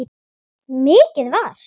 Mikið var.